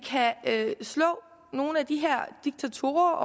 kan slå nogle af de her diktatorer